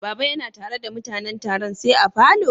Baba ya na tare da mutanen Taron say a'falo?